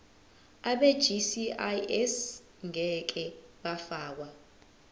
abegcis ngeke bafakwa